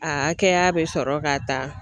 A hakɛya bɛ sɔrɔ ka ta